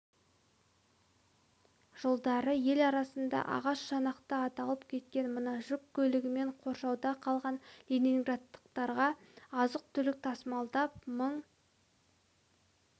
жылдары ел арасында ағаш шанақты аталып кеткен мына жүк көлігімен қоршауда қалған ленинградтықтарға азық-түлік тасымалдап мың